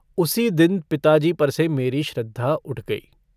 उसी दिन पिताजी पर से मेरी श्रद्धा उठ गई।